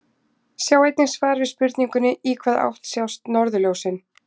Sjá einnig svar við spurningunni Í hvaða átt sjást norðurljósin?